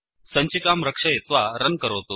सञ्चिकां रक्षयित्वा रन् करोतु